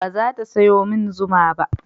Ba za ta sayo min zuma ba